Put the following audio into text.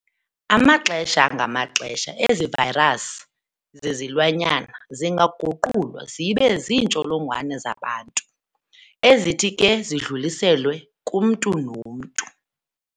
Amaxesha ngamaxesha ezivayirasi zezilwanyana ziyaguqulwa zibe ziintsholongwane zabantu, ezithi ke zidluliselwe kumntu nomntu.